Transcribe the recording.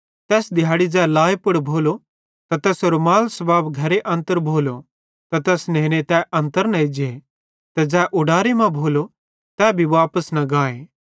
तैस दिहैड़ी ज़ै लाए पुड़ भोलो त तैसेरो माल सबाब अगर घरे मां भोलो त तैस नेने तै अन्तर न एज्जे ते ज़ै उडारे मां भोलो तै भी वापस न गाए